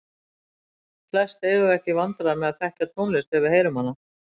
Flest eigum við ekki í vandræðum með að þekkja tónlist þegar við heyrum hana.